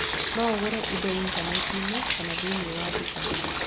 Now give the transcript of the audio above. No ũgũre indo Intaneti-inĩ kana thĩinĩ wa nduka.